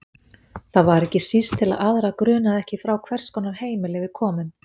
Það var ekki síst til að aðra grunaði ekki frá hvers konar heimili við komum.